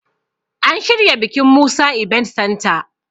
An shirya bikin Musa ibent Santa